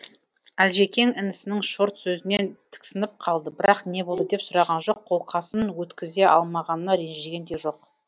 әлжекең інісінің шорт сөзінен тіксініп қалды бірақ не болды деп сұраған жоқ қолқасын өткізе алмағанына ренжіген де жоқ